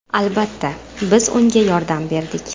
Albatta, biz unga yordam berdik.